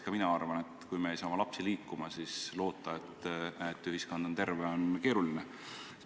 Ka mina arvan, et kui me ei saa oma lapsi liikuma, siis loota, et ühiskond on terve, on keeruline.